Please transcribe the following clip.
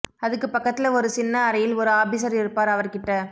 அதுக்கு பக்கத்துல ஒரு சின்ன அறையில் ஒரு ஆபிஸர் இருப்பார் அவர் கிட்ட